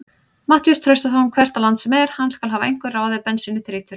Matthías Traustason hvert á land sem er, hann skal hafa einhver ráð ef bensínið þrýtur.